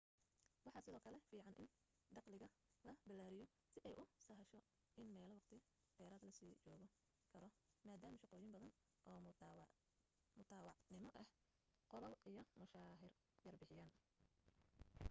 waxa sidoo kale fiiican in dakhliga la ballaariyo si ay u sahasho in meel waqti dheeraada la sii joogi karo maadaama shaqooyin badan oo mutadawacnimo ahi qollaal iyo mushahar yar bixiyaan